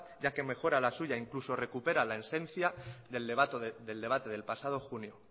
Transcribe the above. ya que mejora la suya incluso recupera la esencia del debate del pasado junio